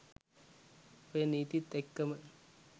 ඔය නීතිත් එක්කම